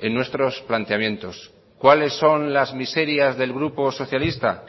en nuestros planteamientos cuáles son las miserias del grupo socialista